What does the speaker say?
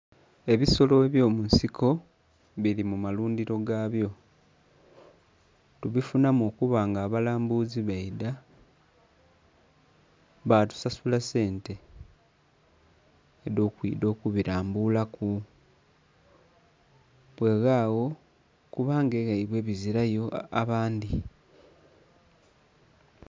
Ebisolo ebyomunsiko biri mumalundhiro gabyo tubifunhamu okuba nga abalambuzi baidha batusasula sente edhokwidha okubira mbulaku bweghagho kuba nga eghabwe bizirayo abandhi.